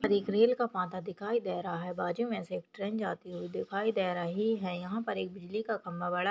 एक रेल का पाता दिखाई दे रहा है बाजू में से ट्रेन जाती हुई दिखाई दे रही है यहां पर एक बिजली का खंबा बड़ा--